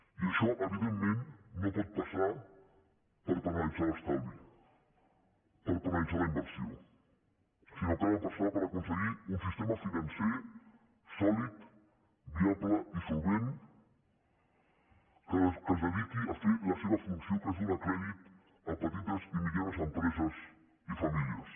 i això evidentment no pot passar per penalitzar l’estalvi per penalitzar la inversió sinó que ha de passar per aconseguir un sistema financer sòlid viable i solvent que es dediqui a fer la seva funció que és donar crèdit a petites i mitjanes empreses i famílies